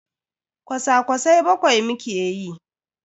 Kwasa-kwasai bakwai muke yi.